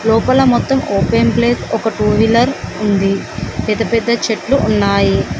లోపల మొత్తం open place ఒక టూ వీలర్ ఉంది పెద్ద పెద్ద చెట్లు ఉన్నాయి.